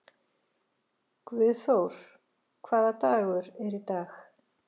Guðþór, hvaða dagur er í dag?